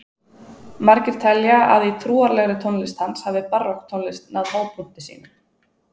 margir telja að í trúarlegri tónlist hans hafi barokktónlist náð hápunkti sínum